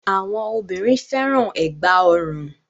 Awọn obìnrin fẹ́ràn ẹ̀gbá-ọrùn.